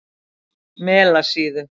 Melasíðu